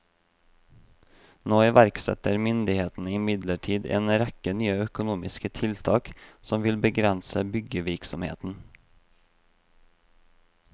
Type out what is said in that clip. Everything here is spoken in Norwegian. Nå iverksetter myndighetene imidlertid en rekke nye økonomiske tiltak som vil begrense byggevirksomheten.